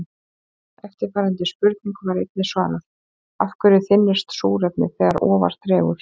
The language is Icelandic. Eftirfarandi spurningu var einnig svarað: Af hverju þynnist súrefnið þegar ofar dregur?